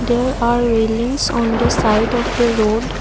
there are wailings on the side of the road.